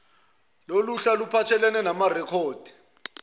loluhla luphathelene namarekhodi